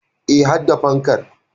E, har da fankar.